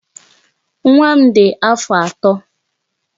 Nwa m dị afọ atọ.